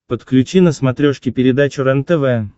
подключи на смотрешке передачу рентв